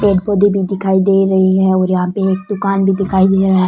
पेड़ पौधे भी दिखाई दे रही है और यहां पे एक दुकान भी दिखाई दे रहा है।